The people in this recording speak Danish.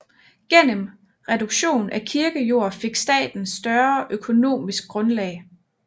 Gennem reduktion af kirkejord fik staten større økonomisk grundlag